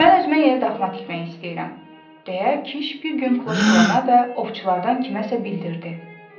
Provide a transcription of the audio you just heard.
Mən özümə yeni daxma tikmek istəyirəm, deyə kiş bir gün kloşkvana və ovçulardan kiməsə bildirdi.